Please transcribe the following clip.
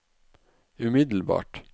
umiddelbart